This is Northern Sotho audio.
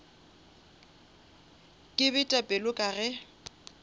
ke bete pelo ka ge